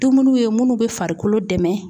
Dumuniw ye minnu be farikolo dɛmɛ